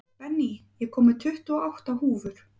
Benný, ég kom með tuttugu og átta húfur!